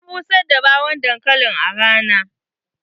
Na busar da ɓawon dankali a rana.